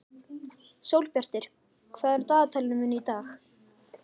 Sólbjartur, hvað er á dagatalinu mínu í dag?